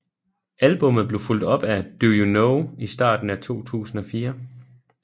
Albummet blev fulgt op af Do You Know i starten af 2004